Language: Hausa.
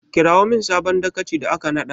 Kirawo min sabon dagacin da aka naɗa!